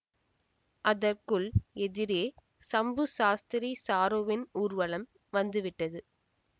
அதற்குள் எதிரே சம்பு சாஸ்திரி சாருவின் ஊர்வலம் வந்து விட்டது